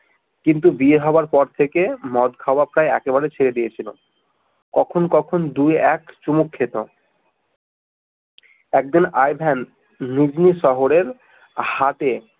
কিন্তু বিয়ে হবার পর থেকে মদ খাওয়া প্রায় একেবারেই ছেড়ে দিয়েছিল কখন কখন দুই এক চুমুক খেতে একদিন আই ভেন লুগ্নী শহরের হাটে